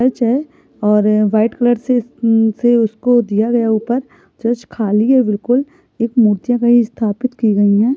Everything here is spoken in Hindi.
--चर्च है। और वाइट कलर से उसको दिया गया है ऊपर चर्च खाली है बिल्कुल। एक मूर्तियां कहीं स्थापित की गई है।